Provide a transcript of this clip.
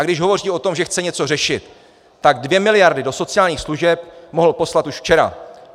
A když hovoří o tom, že chce něco řešit, tak dvě miliardy do sociálních služeb mohl poslat už včera!